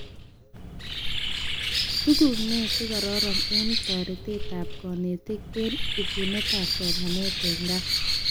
Tuguk nee chekaroron eng toretetab konetik eng ebunetab somanet eng gaa